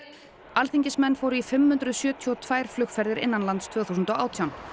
alþingismenn fóru í fimm hundruð sjötíu og tvær flugferðir innanlands tvö þúsund og átján